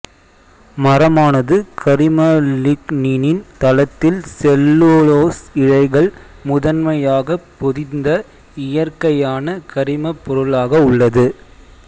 மரமானது கரிம லிக்னினின் தளத்தில் செல்லுலோசு இழைகள் முதன்மையாகப் பொதிந்த இயற்கையான கரிமப் பொருளாக உள்ளது